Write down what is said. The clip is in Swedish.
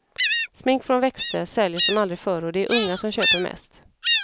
Smink från växter säljer som aldrig förr och det är unga som köper mest.